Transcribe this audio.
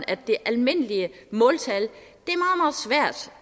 at det almindelige måltal